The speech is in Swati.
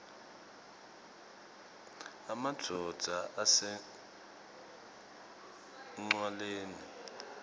emadvodza ase ncwaleni